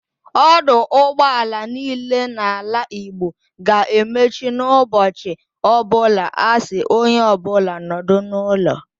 Ọdụ ụgbọaala niile nọ n'ala Igbo ga-emechi n'ụbọchị ọbụla a sị onye ọbụla nọdụ n'ụlọ.